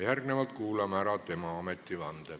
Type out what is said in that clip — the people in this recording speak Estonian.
Järgnevalt kuulame ära tema ametivande.